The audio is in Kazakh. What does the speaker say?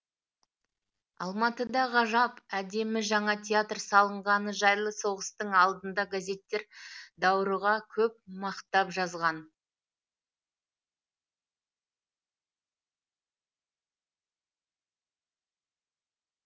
алматыда ғажап әдемі жаңа театр салынғаны жайлы соғыстың алдында газеттер даурыға көп мақтап жазған